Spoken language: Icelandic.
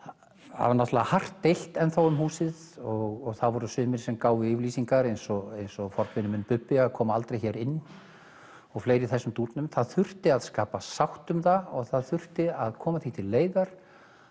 það var hart deilt enn um húsið og það voru sumir sem gáfu yfirlýsingar eins og eins og forveri minn Bubbi að koma aldrei hér inn og fleiri í þessum dúrnum það þurfti að skapa sátt um það og það þurfti að koma því til leiðar